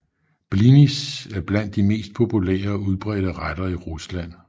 Blinis er blandt de mest populære og udbredte retter i Rusland